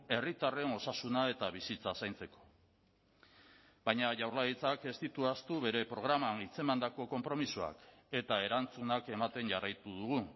herritarren osasuna eta bizitza zaintzeko baina jaurlaritzak ez ditu ahaztu bere programan hitzemandako konpromisoak eta erantzunak ematen jarraitu dugu